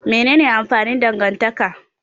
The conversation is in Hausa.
Menene amfanin dangantaka?